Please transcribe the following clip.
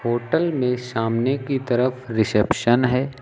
Hotel में सामने की तरफ रिसेप्शन है।